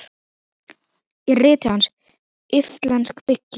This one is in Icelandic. Í riti hans, Íslensk bygging